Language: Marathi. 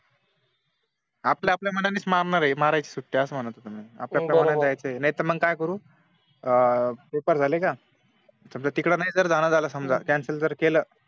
आपल्या आप आपल्या मानाने मारायच्या सुट्ट्या असं म्हणत होत मी अप आपल्या मानाने जायचं नाहीतर मग काय करू पेपर झालं का समझ तिकडे नाही जण झाला का समझा कॅन्सल जर केलं